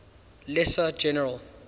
lesser general